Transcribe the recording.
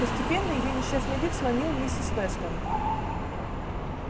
постепенно её несчастный вид сломил миссис вестон